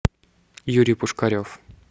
юрий пушкарев